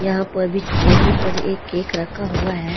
यहां पर बीच टेबुल पर एक केक रखा हुआ है।